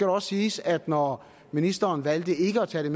også siges at når ministeren valgte ikke at tage